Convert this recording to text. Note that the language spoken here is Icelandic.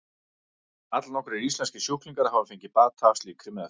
Allnokkrir íslenskir sjúklingar hafa fengið bata af slíkri meðferð.